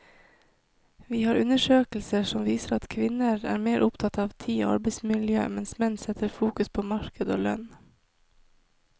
Vi har undersøkelser som viser at kvinner er mer opptatt av tid og arbeidsmiljø, mens menn setter fokus på marked og lønn.